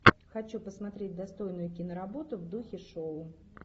хочу посмотреть достойную киноработу в духе шоу